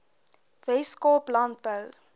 wes kaap landbou